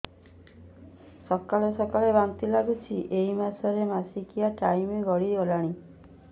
ସକାଳେ ସକାଳେ ବାନ୍ତି ଲାଗୁଚି ଏଇ ମାସ ର ମାସିକିଆ ଟାଇମ ଗଡ଼ି ଗଲାଣି